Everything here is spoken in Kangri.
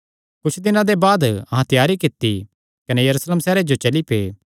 कुच्छ दिनां दे बाद अहां त्यारी कित्ती कने यरूशलेम सैहरे जो चली पै